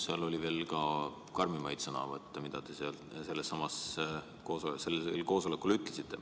Teil oli veel karmimaid sõnavõtte sellel koosolekul.